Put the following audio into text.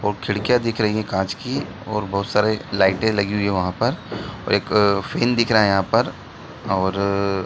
और खिड़कियाँ दिख रही है कांच की ओर बहोत सारी लाइटें लगी हुई हैं वहाँ पर और एक फेन दिख रहा है यहाँ पर और --